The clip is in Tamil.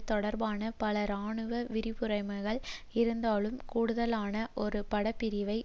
தொடர்பான பல இராணுவ விருப்புரிமைகள் இருந்தாலும் கூடுதலான ஒரு படைப்பிரிவை